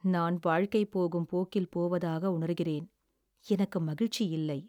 "நான் வாழ்க்கை போகும் போக்கில் போவதாக உணர்கிறேன். எனக்கு மகிழ்ச்சியில்லை."